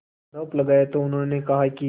आरोप लगाया तो उन्होंने कहा कि